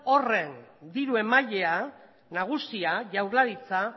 horren diru emailea nagusia jaurlaritza